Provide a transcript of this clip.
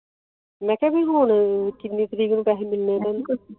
ਮੇਂ ਕਹਾ ਜੀ ਹੁਣ ਕਿੰਨੀ ਤਰੀਕ ਨੂੰ ਪੈਸੇ ਮਿਲਣੇ ਐ